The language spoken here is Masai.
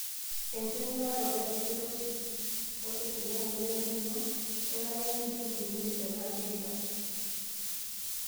Enking'uraroto enkiroshi osesen wemoyian empiron, kenare nidung' enkiroshi tenaa keida.